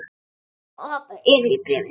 Ég leyfi mér að hoppa yfir í bréfið.